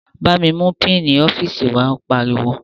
Bámi mú pínǹì ọ́fíìsì wàá, ó pariwo